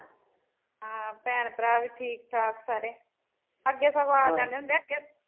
ਹਾਂ ਭੈਣ ਭਰਾ ਵੀ ਠੀਕ ਠਾਕ ਸਾਰੇ, ਅੱਗੇ ਸਗੋਂ ਆ ਜਾਂਦੇ ਹੁੰਦੇ ਆ ਅੱਗੇ